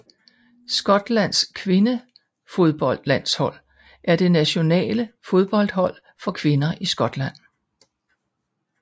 Skotlands kvindefodboldlandshold er det nationale fodboldhold for kvinder i Skotland